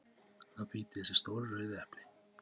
að bíta í þessi stóru rauðu epli.